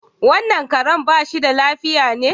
Wannan Karen bashi da lafiya ne?